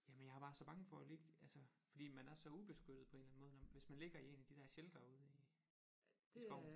Jamen jeg er bare så bange for at ligge altså fordi man er så ubeskyttet på en eller anden måde når hvis man ligger i én af de der sheltere ude i skoven